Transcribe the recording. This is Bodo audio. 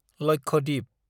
लक्षद्वीप